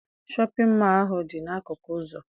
Shọpịn mọọ ahụ dị n'akụkụ ụzọ.